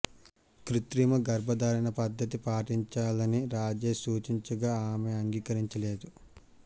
కృత్రిమ గర్భధారణ పద్ధతి పాటించాలని రాజేష్ సూచించగా ఆమె అంగీకరించలేదు